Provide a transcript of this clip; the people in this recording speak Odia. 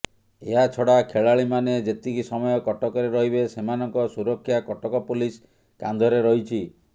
ଏହାଛଡା ଖେଳାଳିମାନେ ଯେତିକି ସମୟ କଟକରେ ରହିବେ ସେମାନଙ୍କ ସୁରକ୍ଷା କଟକ ପୋଲିସ୍ କାନ୍ଧରେ ରହିଛି